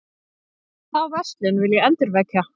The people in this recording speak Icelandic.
Þá verslun vil ég endurvekja.